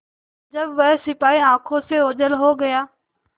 जब वह सिपाही आँखों से ओझल हो गया